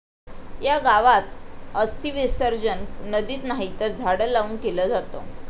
या' गावात अस्थिविसर्जन नदीत नाही तर झाडं लावून केलं जातं!